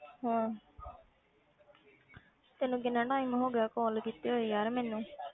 ਹਮ ਤੈਨੂੰ ਕਿੰਨਾ time ਹੋ ਗਿਆ call ਕੀਤੇ ਹੋਏ ਯਾਰ ਮੈਨੂੰ।